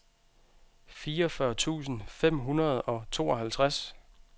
fireogfyrre tusind fem hundrede og tooghalvtreds